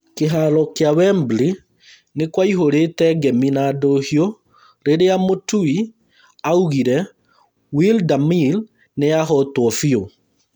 Kĩharo kĩa Wembley nĩkwaihũrĩte ngemi na ndũhiũ rĩrĩa mũtui augire Wladamir nĩahotwo biũ